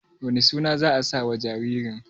wane suna za a sa wa jaririn?